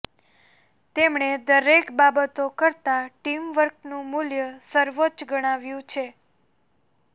તેમણે દરેક બાબતો કરતા ટીમવર્કનું મૂલ્ય સર્વોચ્ચ ગણાવ્યું છે